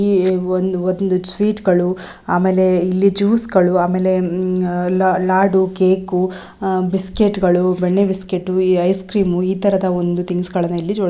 ಇಲ್ಲಿ ಒಂದು ಸ್ವೀಟ್ ಗಳು ಆಮೇಲೆ ಇಲ್ಲಿ ಜ್ಯೂಸ ಗಳು ಆಮೇಲೆ ಇಲ್ಲಿ ಲಾಡು ಕೇಕು ಬಿಸ್ಕತ್ಗಳು ಬೆಣ್ಣೆ ಬಿಸ್ಕತ್ತು ಈ ಐಸ್ಕ್ರೀನ್ ಇತರ ಒಂದು ಥಿನ್ಸ್ ಗಳನ್ನ ಇಲ್ಲಿ ಇಟ್ಟಿದಾರೆ.